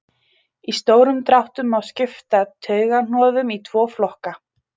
í stórum dráttum má skipta taugahnoðum í tvo flokka